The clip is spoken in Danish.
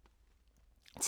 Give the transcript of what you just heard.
TV 2